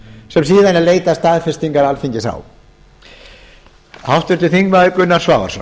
sem síðan er leitað staðfestingar alþingis á háttvirtu þingmenn gunnar svavarsson